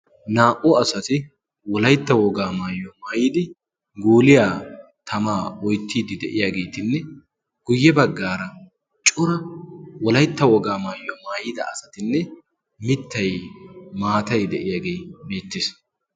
Naa''u asati wolaytta wogaa maayyo maayidi guuliyaa tamaa oyttiidi de'iyaageetinne guyye baggaara cura wolaytta wogaa maayyo maayida asatinne mittay maatay de'iyaagee mittiis